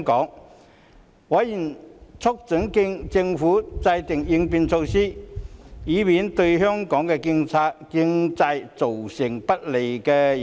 就此，委員促請政府制訂應變措施，以免對香港經濟造成不利影響。